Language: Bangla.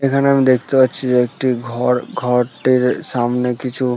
এইখানে আমি দেখতে পাচ্ছি যে একটি ঘর ঘরটির উ সামনে কিছু --